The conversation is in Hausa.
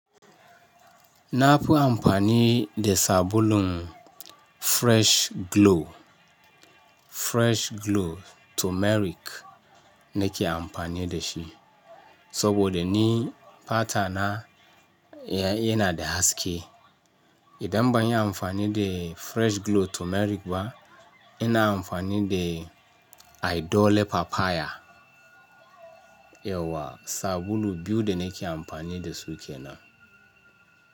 Na fi amfani da sabulun Fresh Glow, Fresh Glow Turmeric na ke amfani da shi saboda ni fata na yana da haske. Idan ban yi amfani da Fresh Glow Turmeric ba, ina amfani da Idol Papaya. Yauwa sabulu biyu da na ke amfani da su kenan.